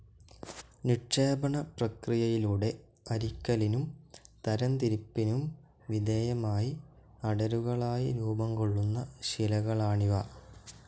നിക്ഷേപണപ്രക്രിയയിലൂടെ അരിക്കലിനും തരംതിരിപ്പിനും വിധേയമായി അടരുകളായി രൂപംകൊള്ളുന്ന ശിലകളാണിവ.